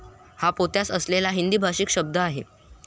हा पोत्यास असलेला एक हिंदीभाषीक शब्द आहे.